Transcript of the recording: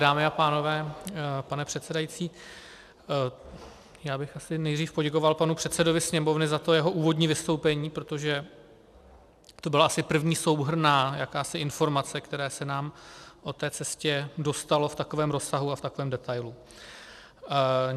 Dámy a pánové, pane předsedající, já bych asi nejdřív poděkoval panu předsedovi Sněmovny za to jeho úvodní vystoupení, protože to byla asi první souhrnná jakási informace, které se nám o té cestě dostalo v takovém rozsahu a v takovém detailu.